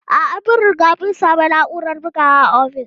A'a, mun riga mun sami na'urar bugawa a ofis.